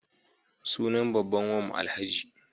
Sunan babban wanmu Alhaji.